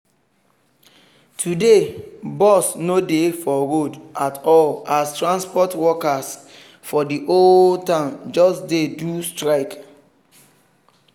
today bus no dey for road at all as transport workers for the whole town just dey do strike